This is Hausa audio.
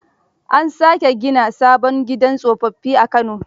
An sake gina sabon gidan tsofaffi a Kano.